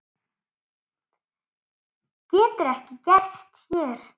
Getur ekki gerst hér.